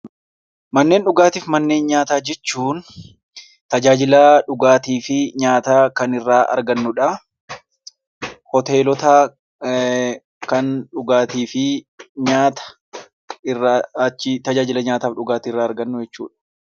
Manneen dhugaatii fi manneen nyaataa jechuun tajaajila dhugaatii fi nyaataa kan irraa argannudha. Hoteelota kan tajaajila dhugaatii fi nyaata irraa argannu jechuudha.